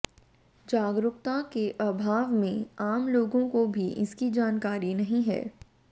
जागरूकता के आभाव में आम लोगों को भी इसकी जानकरी नहीं है